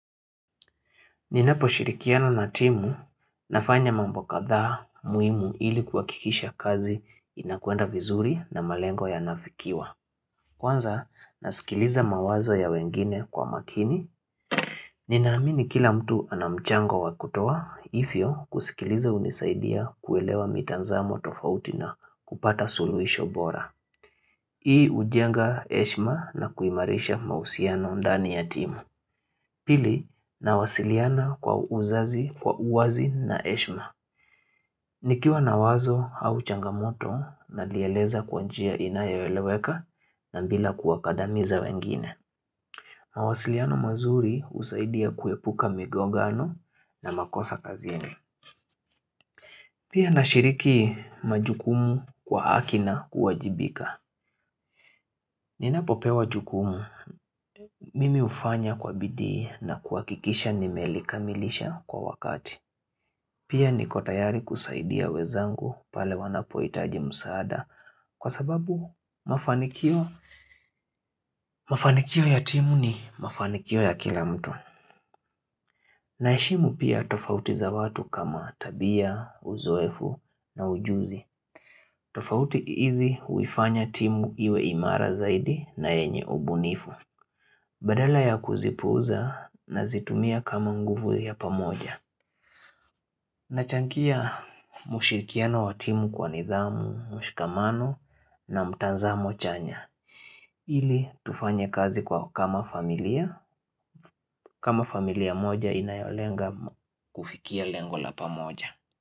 Ninaposhirikiana na timu nafanya mambo kadhaa muhimu ili kuhakikisha kazi inakwenda vizuri na malengo yanafikiwa. Kwanza nasikiliza mawazo ya wengine kwa makini. Ninaamini kila mtu ana mchango wa kutoa hivyo kusikiliza hunisaidia kuelewa mitazamo tofauti na kupata suluhisho bora. Hii hujenga heshima na kuimarisha mahusiano ndani ya timu. Pili nawasiliana kwa uzazi, kwa uwazi na heshima. Nikiwa na wazo au changamoto nalieleza kwa njia inayoeleweka na bila kuwakadamiza wengine. Mawasiliano mazuri husaidia kuepuka migongano na makosa kazini. Pia nashiriki majukumu kwa haki na kuwajibika. Ninapopewa jukumu, mimi hufanya kwa bidii na kuhakikisha nimelikamilisha kwa wakati. Pia niko tayari kusaidia wenzangu pale wanapohitaji msaada kwa sababu mafanikio ya timu ni mafanikio ya kila mtu. Naheshimu pia tofauti za watu kama tabia, uzoefu na ujuzi. Tofauti hizi huifanya timu iwe imara zaidi na yenye ubunifu. Badala ya kuzipuuza nazitumia kama nguvu ya pamoja. Nachangia mshirikiano wa timu kwa nidhamu, mshikamano na mtazamo chanya ili tufanye kazi kwa kama familia kama familia moja inayolenga kufikia lengo la pamoja.